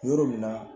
Yɔrɔ min na